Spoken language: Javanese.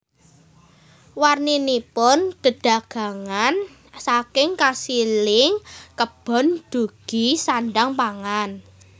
Warninipun dedagangan saking kasiling kebon dugi sandhang pangan